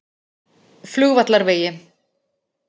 Flugvallarvegi